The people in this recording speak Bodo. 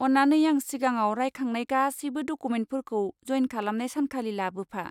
अन्नानै आं सिगाङाव रायखांनाय गासैबो डकुमेन्टफोरखौ जइन खालामनाय सानखालि लाबोफा।